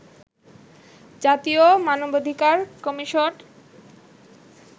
জাতীয় মানবাধিকার কমিশন